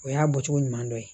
O y'a bɔcogo ɲuman dɔ ye